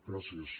gràcies